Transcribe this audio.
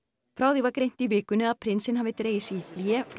frá því var greint í vikunni að prinsinn hafi dregið sig í hlé frá